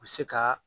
U bɛ se ka